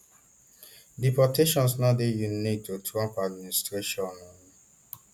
deportations no dey unique to trump administration um